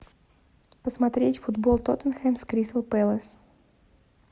посмотреть футбол тоттенхэм с кристал пэлас